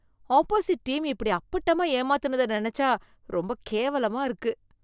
opposite team இப்படி அப்பட்டமா ஏமாத்துனத நினைச்சா ரொம்ப கேவலமா இருக்கு